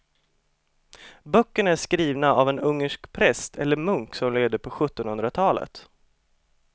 Böckerna är skrivna av en ungersk präst eller munk som levde på sjuttonhundratalet.